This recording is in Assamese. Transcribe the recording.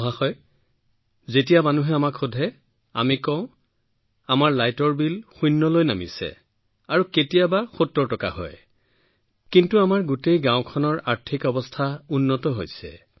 মহাশয় যেতিয়া মানুহে আমাক শুধিছিল আমি কওঁ যে আমি যি বিল পাওঁ সেয়া এতিয়া শূন্য আৰু কেতিয়াবা ৭০ টকা হয় কিন্তু আমাৰ সমগ্ৰ গাওঁখনৰ অৰ্থনৈতিক অৱস্থা উন্নত হৈ আছে